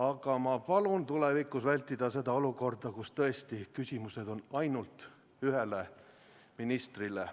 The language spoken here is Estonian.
Aga ma palun tulevikus vältida olukorda, kus tõesti küsimused on ainult ühele ministrile.